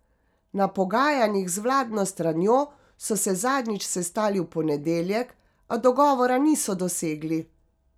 Na pogajanjih z vladno stranjo so se zadnjič sestali v ponedeljek, a dogovora niso dosegli.